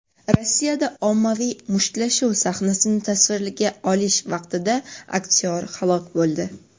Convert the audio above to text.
Rossiyada ommaviy mushtlashuv sahnasini tasvirga olish vaqtida aktyor halok bo‘ldi.